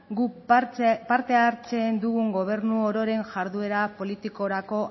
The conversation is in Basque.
guk parte hartzen dugun gobernu ororen jarduera politikorako